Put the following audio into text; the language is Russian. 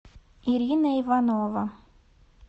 ирина иванова